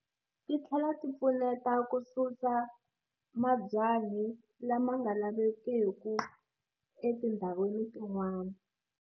Ti tlhela ti pfuneta ku susa mabyanyi lama nga lavekiku etindhawini tin'wana.